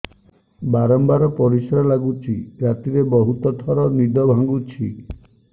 ବାରମ୍ବାର ପରିଶ୍ରା ଲାଗୁଚି ରାତିରେ ବହୁତ ଥର ନିଦ ଭାଙ୍ଗୁଛି